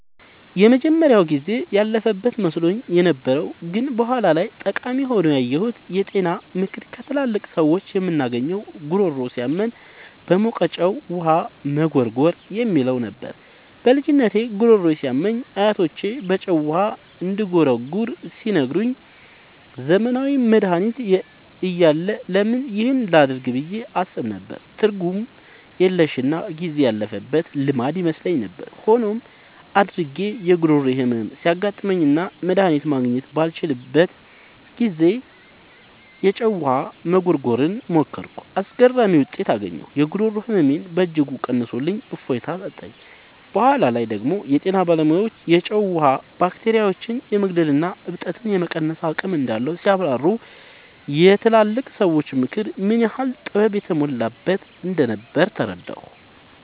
የመጀመሪያው ጊዜ ያለፈበት መስሎኝ የነበረው ግን በኋላ ላይ ጠቃሚ ሆኖ ያገኘሁት የጤና ምክር ከትላልቅ ሰዎች የምናገኘው "ጉሮሮ ሲያመን በሞቀ ጨው ውሃ መጉርጎር" የሚለው ነበር። በልጅነቴ ጉሮሮዬ ሲያመኝ አያቶቼ በጨው ውሃ እንድጉርጎር ሲነግሩኝ፣ ዘመናዊ መድሃኒት እያለ ለምን ይህን ላደርግ ብዬ አስብ ነበር። ትርጉም የለሽና ጊዜ ያለፈበት ልማድ ይመስለኝ ነበር። ሆኖም፣ አድጌ የጉሮሮ ህመም ሲያጋጥመኝና መድሃኒት ማግኘት ባልችልበት ጊዜ፣ የጨው ውሃ መጉርጎርን ሞከርኩ። አስገራሚ ውጤት አገኘሁ! የጉሮሮ ህመሜን በእጅጉ ቀንሶልኝ እፎይታ ሰጠኝ። በኋላ ላይ ደግሞ የጤና ባለሙያዎች የጨው ውሃ ባክቴሪያዎችን የመግደልና እብጠትን የመቀነስ አቅም እንዳለው ሲያብራሩ፣ የትላልቅ ሰዎች ምክር ምን ያህል ጥበብ የተሞላበት እንደነበር ተረዳሁ።